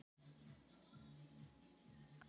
Þeim sem eru næstbestir eða þriðju bestir?